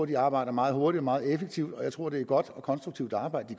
de arbejder meget hurtigt og meget effektivt og jeg tror er et godt og konstruktivt arbejde